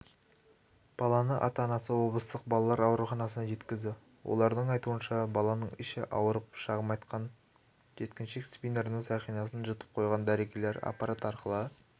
баланы ата-анасы облыстық балалар ауруханасына жеткізді олардың айтуынша баланың іші ауырып шағым айтқан жеткіншек спиннердің сақинасын жұтып қойған дәрігерлер аппарат арқылы